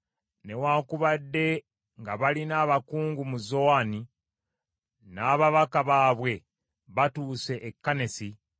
Newaakubadde nga balina abakungu mu Zowani n’ababaka baabwe batuuse e Kanesi,